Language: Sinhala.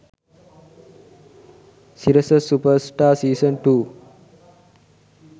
sirasa superstar season 2